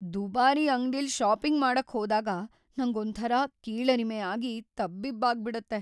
ದುಬಾರಿ ಅಂಗ್ಡಿಲ್ ಷಾಪಿಂಗ್ ಮಾಡಕ್ ಹೋದಾಗ ನಂಗೊಂಥರ ಕೀಳರಿಮೆ ಆಗಿ ತಬ್ಬಿಬ್ಬಾಗ್ಬಿಡತ್ತೆ.